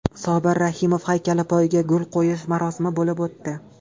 Sobir Rahimov haykali poyiga gul qo‘yish marosimi bo‘lib o‘tdi.